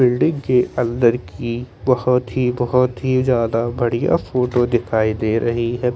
Building के अन्दर की बहुत ही बहुत ही जादा बढ़िया फोटो दिखाई दे रही है ।